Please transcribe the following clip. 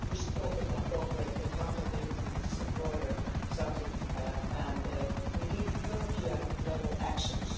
We should talk about corporate accountability, which is a broader subject, and we need European level actions.